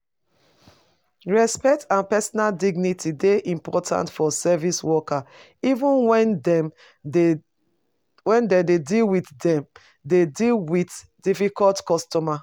Respect and personal dignity dey important for service workers even when dem dey deal dem dey deal with difficult customers.